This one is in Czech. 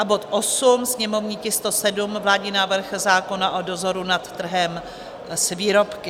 a bod 8, sněmovní tisk 107, vládní návrh zákona o dozoru nad trhem s výrobky;